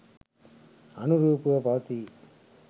අනුරූපව පවතී.